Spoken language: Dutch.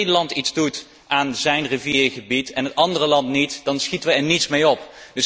Als een land iets doet aan zijn riviergebied en een ander land niet, dan schieten we er niets mee op.